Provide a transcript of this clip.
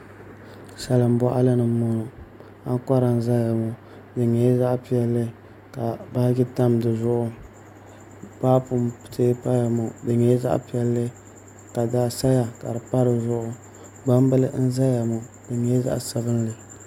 Salin boɣali ni n boŋo ankora n ʒɛya ŋo di nyɛla zaɣ piɛlli ka baaji tam dizuɣu paapu n tiɛ paya ŋo di nyɛla zaɣ piɛlli ka daɣu saya ka di pa di zuɣu gbambili n ʒɛya ŋo di nyɛla zaɣ sabinli